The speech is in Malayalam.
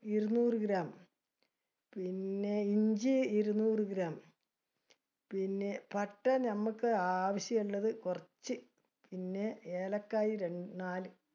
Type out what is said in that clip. ഇരുനൂറ് gram, പിന്നെ ഇഞ്ചി ഇരുനൂറ് gram, , പിന്നെ പട്ട നമ്മക്ക് ആവശ്യമുള്ളത് കുറച്ച്, പിന്നെ ഏലക്കായി രണ്ട് നാല്.